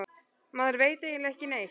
Maður veit eiginlega ekki neitt